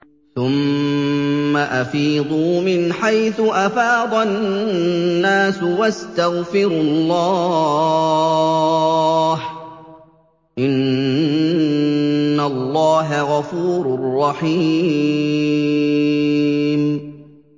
ثُمَّ أَفِيضُوا مِنْ حَيْثُ أَفَاضَ النَّاسُ وَاسْتَغْفِرُوا اللَّهَ ۚ إِنَّ اللَّهَ غَفُورٌ رَّحِيمٌ